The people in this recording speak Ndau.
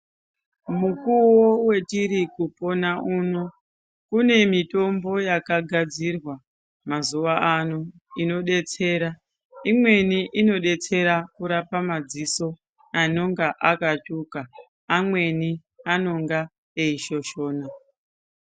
Mukuwo wetiri kupona uno. Kune mitombo yakagadzirwa mazuva ano inodetsera. Imweni inodetsera kurapa madziso anonga akatsvuka, amweni anonga eishoshona.